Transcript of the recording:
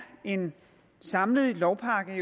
en samlet lovpakke